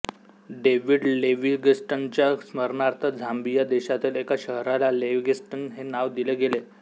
David लिव्हिंगस्टनच्या स्मरणार्थ Zambia देशातील एका शहराला लिव्हिंगस्टन हे नाव दिले गेले